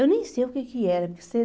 Eu nem sei o que que era. Que você..